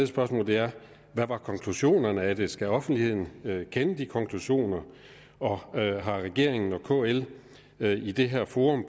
spørgsmål er hvad var konklusionerne af det og skal offentligheden kende de konklusioner og har regeringen og kl i det her forum